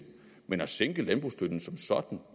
men at sænke landbrugsstøtten som sådan